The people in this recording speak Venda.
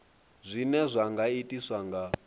zwine zwa nga itiswa nga